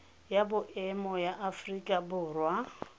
ya boemo ya aforika borwa